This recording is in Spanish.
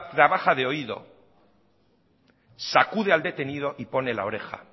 trabaja de oído sacude al detenido y pone la oreja